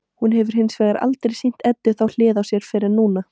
Hún hefur hins vegar aldrei sýnt Eddu þá hlið á sér fyrr en núna.